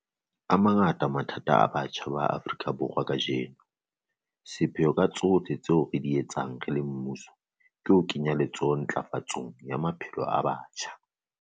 A mangata mathata a batjha ba Afrika Borwa kajeno. Sepheo ka tsohle tseo re di etsang re le mmuso ke ho kenya letsoho ntlafatsong ya maphelo a batjha.